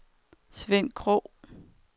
Sven Krogh